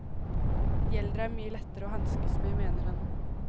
De eldre er mye lettere å hanskes med, mener han.